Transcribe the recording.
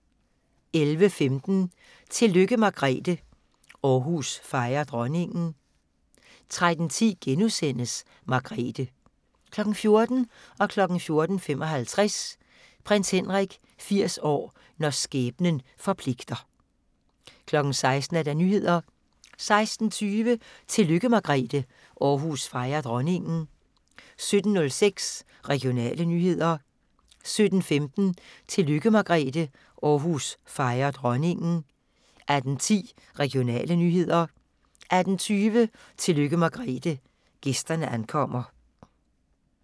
11:15: Tillykke Margrethe – Aarhus fejrer dronningen 13:10: Margrethe * 14:00: Prins Henrik 80 år – når skæbnen forpligter 14:55: Prins Henrik 80 år – når skæbnen forpligter 16:00: Nyhederne 16:20: Tillykke Margrethe – Aarhus fejrer dronningen 17:06: Regionale nyheder 17:15: Tillykke Margrethe – Aarhus fejrer dronningen 18:10: Regionale nyheder 18:20: Tillykke Margrethe – gæsterne ankommer